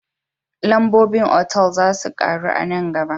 Lambobin otal za su karu a nan gaba